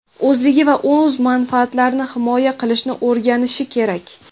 o‘zligi va o‘z manfaatlarini himoya qilishni o‘rganishi kerak.